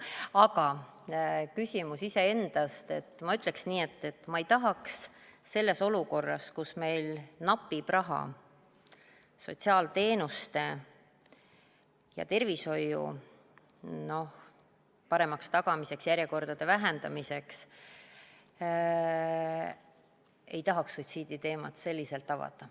Aga ma ütleksin nii, et olukorras, kus meil napib raha sotsiaalteenuste ja tervishoiu paremaks tagamiseks, järjekordade vähendamiseks, ei tahaks suitsiiditeemat selliselt avada.